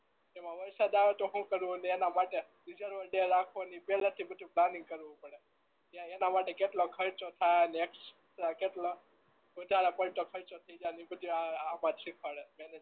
એમાં વરસાદ આવે તો શું કરવું ને એના માટે વિચારવાપેહલા થી જ બધું પ્લાનીગ કરવું પડે ત્યાં એના માટે કેટલો ખરચો થાય ને કેટલો વધાર પડતો ખરચો થઈ જાય ને બધુંય આમાં ને શીખવાડે